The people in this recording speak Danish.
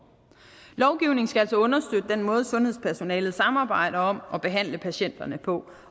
lovgivningen skal altså understøtte den måde sundhedspersonalet samarbejder om at behandle patienterne på